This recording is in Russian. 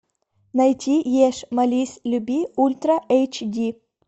найти ешь молись люби ультра эйч ди